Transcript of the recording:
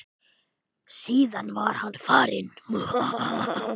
Síðan var hann farinn.